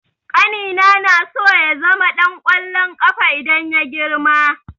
Ƙanina naso ya zama ɗan ƙwallon ƙafa idan ya girma.